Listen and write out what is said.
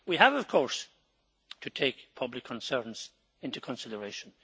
We have, of course, to take public concerns into consideration.